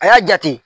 A y'a jate